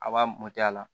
A b'a mɔtɛ a la